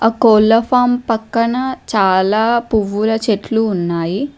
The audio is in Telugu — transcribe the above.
ఆ కోళ్ల ఫామ్ పక్కన చాలా పువ్వుల చెట్లు ఉన్నాయి.